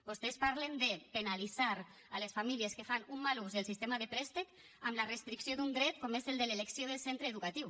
vostès parlen de penalitzar les famílies que fan un mal ús del sistema de préstec amb la restricció d’un dret com és el de l’elecció del centre educatiu